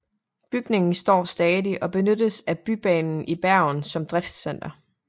Bygningen står stadig og benyttes af Bybanen i Bergen som driftscenter